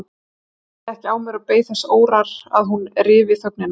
Ég bærði ekki á mér og beið þess órór að hún ryfi þögnina.